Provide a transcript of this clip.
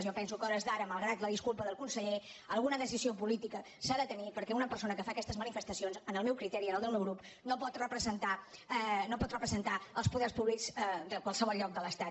jo penso que a hores d’ara malgrat la disculpa del conseller alguna decisió política s’ha de tenir perquè una persona que fa aquestes manifestacions en el meu criteri i en el del meu grup no pot representar els poders públics de qualsevol lloc de l’estat